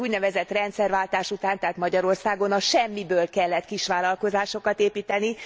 Az úgynevezett rendszerváltás után tehát Magyarországon a semmiből kellett kisvállalkozásokat építeni.